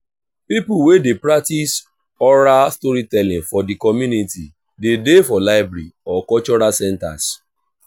pipo wey de practice oral storytelling for di community de dey for library or cultural centers